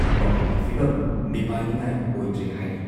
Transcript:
ꯃꯈꯣꯏꯒꯤ ꯐꯤꯚꯝ ꯃꯤꯄꯥꯏꯅꯤꯉꯥꯏ ꯑꯣꯏꯗ꯭ꯔꯦ ꯍꯥꯏꯔꯤ ꯫